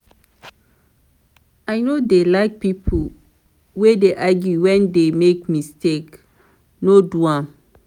i no dey like pipo wey dey argue wen dey make mistake no do am.